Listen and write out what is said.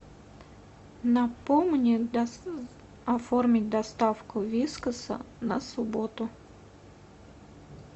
напомни оформить доставку вискаса на субботу